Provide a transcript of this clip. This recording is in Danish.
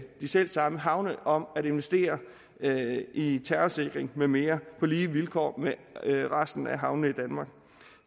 de selv samme havne om at investere i terrorsikring med mere på lige vilkår med resten af havnene